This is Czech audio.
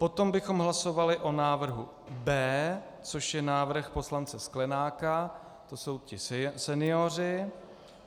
Potom bychom hlasovali o návrhu B, což je návrh poslance Sklenáka, to jsou ti senioři.